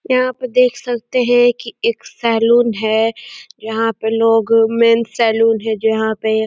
''यहाँ पे देख सकते हैं कि एक सैलून है। यहाँ पर लोग मेंस सैलून है जो यहाँ पे --''